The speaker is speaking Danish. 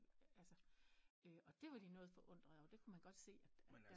Altså og det var de noget forundret over det kunne man godt se